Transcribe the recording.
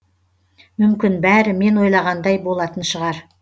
мүмкін бәрі мен ойлағандай болатын шығар